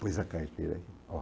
Pôs a carteira ó